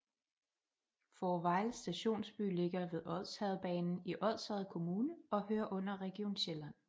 Fårevejle Stationsby ligger ved Odsherredsbanen i Odsherred Kommune og hører under Region Sjælland